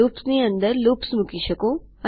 લૂપ્સની અંદર લૂપ્સ મૂકી શકો